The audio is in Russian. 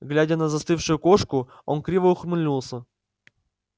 глядя на застывшую кошку он криво ухмыльнулся